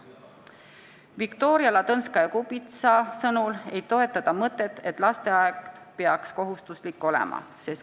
Viktoria Ladõnskaja-Kubits ütles end mitte toetavat mõtet, et lasteaed peaks kohustuslik olema.